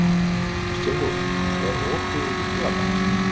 Steinrún, er opið í Vikivaka?